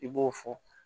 I b'o fɔ